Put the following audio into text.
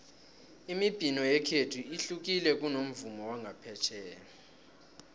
imibhino yekhethu ihlukile kunomvumo wangaphetjheya